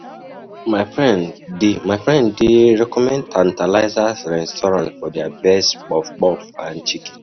I dey love eating at Sweet Sensation cafe because cafe because of their correct plantain chips.